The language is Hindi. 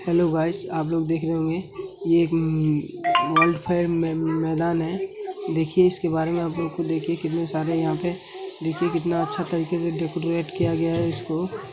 हेल्लो गाइस आप लोग देख रहे होंगे ये एक मम वर्ल्ड फेयर मै मैदान है देखिए इसके बारे में आप लोगो को देखिए कितने सारे यहाँ पे देखिए कितना अच्छा तरीके से डेकोरेट किया गया है इसको।